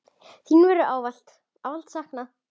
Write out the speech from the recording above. Þín verður ávallt, ávallt saknað.